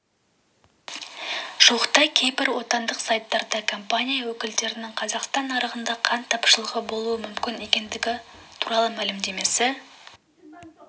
жуықта кейбір отандық сайттарда компаниясы өкілдерінің қазақстан нарығында қант тапшылығы болуы мүмкін екендігі туралы мәлімдемесі